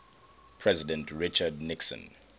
president richard nixon